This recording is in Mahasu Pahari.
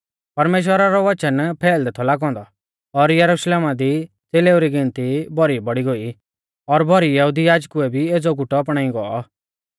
परमेश्‍वरा रौ वचन फैलदै थौ लागौ औन्दौ और यरुशलेमा दी च़ेलेऊ री गिनती भौरी बौड़ी गोई और भौरी यहुदी याजकुऐ भी एज़ौ गुट अपणाई गौ